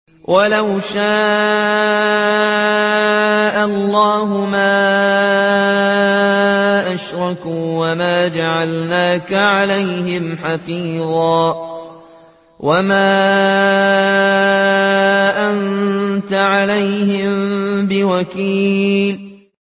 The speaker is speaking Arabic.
وَلَوْ شَاءَ اللَّهُ مَا أَشْرَكُوا ۗ وَمَا جَعَلْنَاكَ عَلَيْهِمْ حَفِيظًا ۖ وَمَا أَنتَ عَلَيْهِم بِوَكِيلٍ